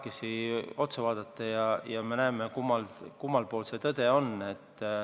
Saame teineteisele otsa vaadata ja näha, kummal pool see tõde on.